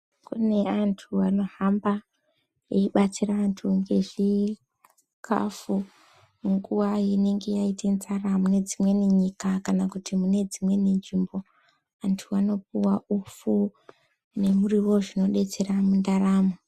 Kune andu anohamba eyibatsira andu ngezvikafu munguva inenge yaite nzara munedzimweni nyika kana kuti mune dzimweni nzvimbo andu anopiwa upfu nemurio zvinobetsera mundaramo.